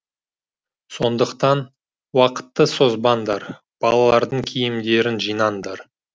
сондықтан уақытты созбаңдар балалардың киімдерін жинаңдар